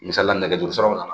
Misalila nɛgɛso jɔsiraw na